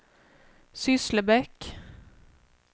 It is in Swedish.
Sysslebäck